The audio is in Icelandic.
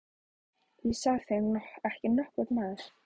Það sá þig ekki nokkur maður!